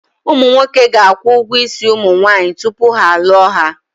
Ụmụ nwoke ga-akwụ ụgwọ isi ụmụ nwaanyị tupu ha alụọ ha.